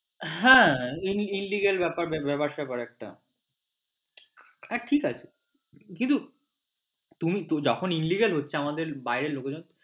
হ্যাঁ এটা illegal ব্যাপার স্যাপার একটা ঠিক আছে কিন্তু তুমি যখন illegal হচ্ছে আমাদের বাইরের লোকেদের